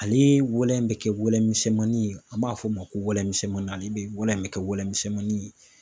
Ale wɛlɛ bɛ kɛ wɛlɛ misɛnmanin ye an b'a fɔ o ma ko wɛlɛ misɛnmanin ale bɛ wɛlɛ in bɛ kɛ wɛlɛ misɛnmanin ye.